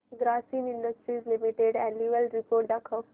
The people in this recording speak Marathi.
Grasim industries limited annual report दाखव